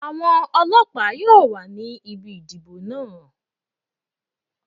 Àwọn ọlọ́pàá yóò wà ní ibi ìdìbò náà.